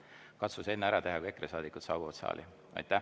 Katsu see enne ära teha, kui EKRE saadikud saali saabuvad.